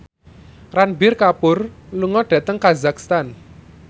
Ranbir Kapoor lunga dhateng kazakhstan